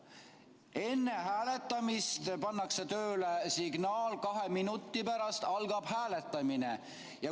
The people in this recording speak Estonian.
Enne hääletamist pannakse tööle signaal, kahe minuti pärast algab hääletamine.